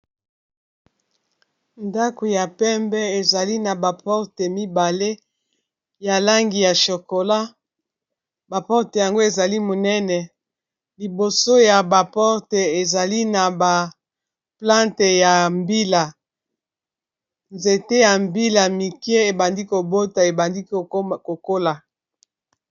Ndako ya pembe ezali na ba porte mibale ya langi ya chokola ba porte yango ezali monene liboso ya ba porte ezali na ba plante ya mbila nzete ya mbila mike ebandi kobota ebandi kokola.